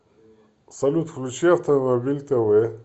салют включи автомобиль тэ вэ